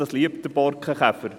Diesen liebt der Borkenkäfer.